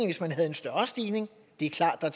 hvis man havde en større stigning det er klart at der